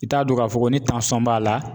I t'a dɔn k'a fɔ ko ni b'a la.